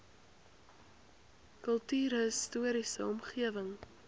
kultuurhis toriese omgewing